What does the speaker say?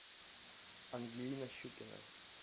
ангелина щукина